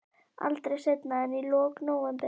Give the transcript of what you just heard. Aldrei seinna en í lok nóvember.